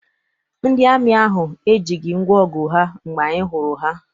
Ndị amị ahụ ejighị ngwaọgụ ha mgbe anyị hụrụ ha.